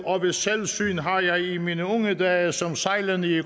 ved selvsyn har jeg i mine unge dage som sejlende i